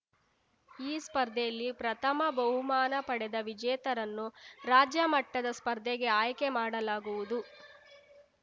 ಈ ಸ್ಪರ್ಧೆಯಲ್ಲಿ ಪ್ರಥಮ ಬಹುಮಾನ ಪಡೆದ ವಿಜೇತರನ್ನು ರಾಜ್ಯ ಮಟ್ಟದ ಸ್ಪರ್ಧೆಗೆ ಆಯ್ಕೆ ಮಾಡಲಾಗುವುದು